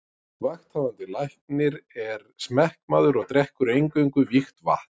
Vakthafandi Læknir er smekkmaður og drekkur eingöngu vígt vatn.